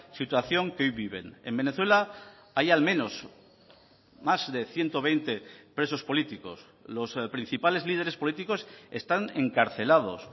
situación que hoy viven en venezuela hay al menos más de ciento veinte presos políticos los principales líderes políticos están encarcelados